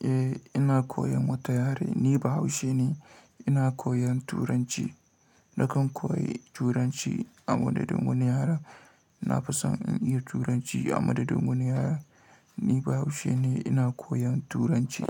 Eh ina koyan wata yare. Ni Bahaushe ne ina koyan Turanci. Nakan koyi Turanci a madadin wani yare. Na fi son in iya Turanci a madadin wani yare. Ni Bahaushe ne ina koyan Turanci.